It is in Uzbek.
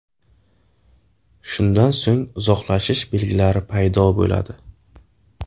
Shundan so‘ng uzoqlashish belgilari paydo bo‘ladi.